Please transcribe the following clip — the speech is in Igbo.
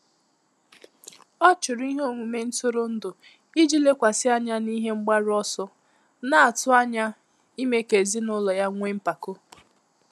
Ọ́ chụ́rụ̀ ìhè ọmụ́mé ntụ́rụ́ndụ̀ ìjí lékwàsị́ ányá n’íhé mgbàrù ọsọ, nà-àtụ́ ányá ìmé kà èzínụ́lọ yá nwèé mpàkò.